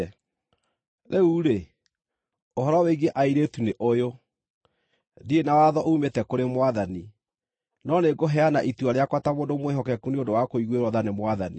Rĩu-rĩ, ũhoro wĩgiĩ airĩtu nĩ ũyũ: Ndirĩ na watho uumĩte kũrĩ Mwathani, no nĩngũheana itua rĩakwa ta mũndũ mwĩhokeku nĩ ũndũ wa kũiguĩrwo tha nĩ Mwathani.